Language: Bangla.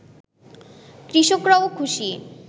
কৃষকরাও খুশি